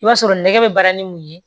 I b'a sɔrɔ nɛgɛ bɛ baara ni mun ye